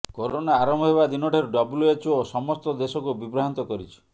corona ଆରମ୍ଭ ହେବା ଦିନଠାରୁ ଡବ୍ଲ୍ୟୁଏଚଓ ସମସ୍ତ ଦେଶକୁ ବିଭ୍ରାନ୍ତ କରିଛି